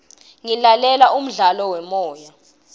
ngilalela umdlalo wemoya